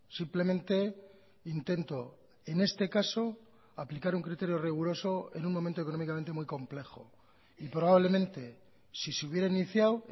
simplemente intento en este caso aplicar un criterio riguroso en un momento económicamente muy complejo y probablemente si se hubiera iniciado